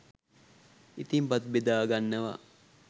ඉතිං බත් බෙදා ගන්නවා.